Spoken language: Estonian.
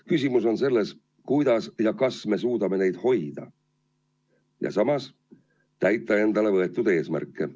Küsimus on selles, kas me suudame neid hoida ja samas täita endale võetud eesmärke.